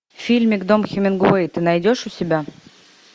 фильмик дом хемингуэй ты найдешь у себя